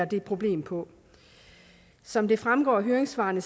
det problem på som det fremgår af høringssvarene